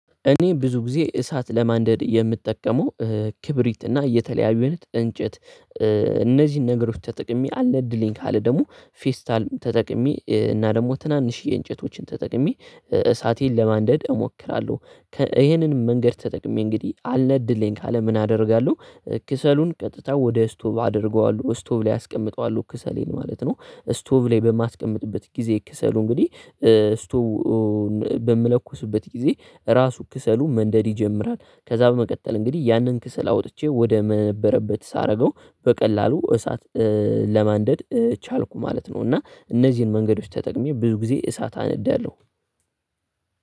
እኔ ብዙ ጊዜ እሳት ለማንደድ የምጠቀመው ክብሪት እና የተለያዩ አይነት እንጨት እነዚህን ነገሮች ተጠቅሜ አልነድልኝ ካለ ደግሞ ፌስታልም ተጠቅሜ እና ደግሞ ትናንሽ የእንጨቶችን ተጠቅሜ እሳቴን ለማንደድ እሞክራለሁ። ከ ይሄንን መንገድ ተጠቅሜ እንግዲህ አልነድልኝ ካለ ምን አደርጋለሁ? ክሰሉን ቀጥታ ወደ ስቶብ አደርገዋለሁ ስቶብ ላይ አስቀምጠዋለሁ ክሰሌን ማለት ነው። ስቶብ ላይ በማስቀምጥበት ጊዜ ክሰሉ እንግዲህ ስቶቩ በምለኩስበት ጊዜ ራሱ ክሰሉ መንደድ ይጀምራል። ከዛ በመቀጠል እንግዲህ ያንን ክሰል አወጥቼ ወደ መነበረበት ሳረገው በቀላሉ እሳት ለማንደድ ቻልኩ ማለት ነው። እና እነዚህን መንገዶች ተጠቅሜ ብዙ ጊዜ እሳት አነዳለሁ።